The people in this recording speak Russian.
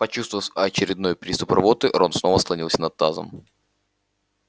почувствовав очередной приступ рвоты рон снова склонился над тазом